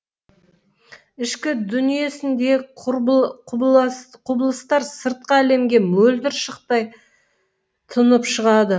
ішкі дүниесіндегі құбылыстар сыртқы әлемге мөлдір шықтай тұнып шығады